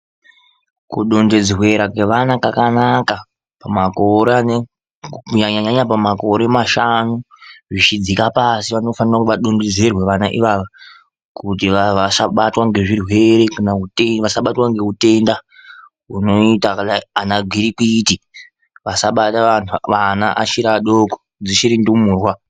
Kudonhedzerwa kwevana kwakanaka, kunyanya nyanya pamakore mashanu zvichidzika. Asi zvinofana zvichidunduzirwa pavana ivavo kuti vasabatwa nezvirwere kana kuti vasabatwa nehutenda unoita sana gwitikwiti usabata vana vachiri vadoko dzichiri ndumurwa.